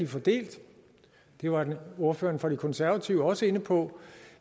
fordelt det var ordføreren for de konservative også inde på